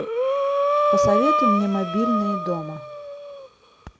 посоветуй мне мобильные дома